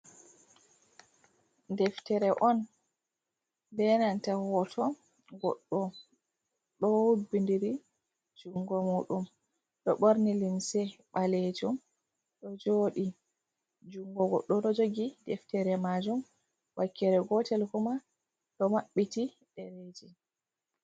Deftere on be nanta hoto goɗɗo ɗo wubbidiri jungo muɗum, ɗo ɓorni limse ɓalejum, ɗo joɗi. Jungo goɗɗo ɗo jogi deftere majum, wakkere gotel kuma ɗo maɓɓiti ɗereji.